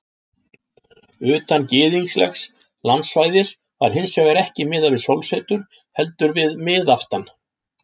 Utan gyðinglegs landsvæðis var hins vegar ekki miðað við sólsetur heldur við miðaftan.